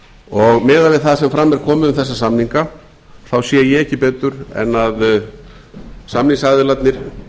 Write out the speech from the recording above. og miðað við það sem fram er komið um þessa samninga sé ég ekki betur en samningsaðilarnir